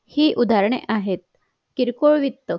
हि उदाहरणे आहेत किरकोळ विकत